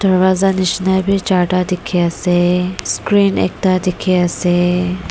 darvaza nishina bi jarta tiki ase screen ekta tiki ase.